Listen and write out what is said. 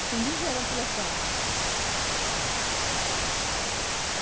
Acendi vela pela sua alma, né.